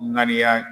Ŋaniya